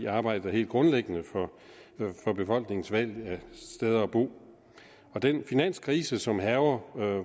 arbejdet er helt grundlæggende for befolkningens valg af steder at bo den finanskrise som hærger